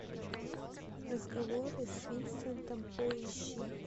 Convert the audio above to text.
разговоры с винсентом поищи